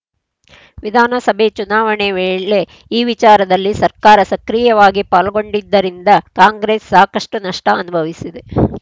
ವಿಧಾನಸಭೆ ಚುನಾವಣೆ ವೇಳೆ ಈ ವಿಚಾರದಲ್ಲಿ ಸರ್ಕಾರ ಸಕ್ರಿಯವಾಗಿ ಪಾಲ್ಗೊಂಡಿದ್ದರಿಂದ ಕಾಂಗ್ರೆಸ್‌ ಸಾಕಷ್ಟುನಷ್ಟಅನುಭವಿಸಿದೆ